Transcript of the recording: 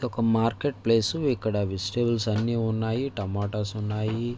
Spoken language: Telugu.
ఒక మార్కెట్ ప్లేస్ . ఇక్కడ వెజిటేబుల్పై అన్ని ఉనాయి. టోమాటోస్ ఉనాయి.